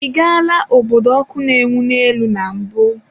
Ị gaala obodo ọkụ na-enwu n'elu na mbụ?